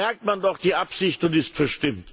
Dann merkt man doch die Absicht und ist verstimmt!